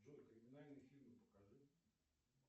джой криминальный фильм покажи